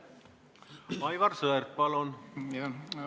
Aivar Sõerd, palun!